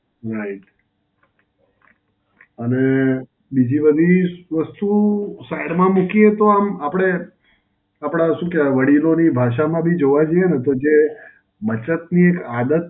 right. અને બીજી વધી વસ્તુ side માં મૂકીએ તો આમ આપડે આપડા શું કહેવાય? વડીલોની ભાષામાં બી જોવા જઈએ ને તો જે બચતની એક આદત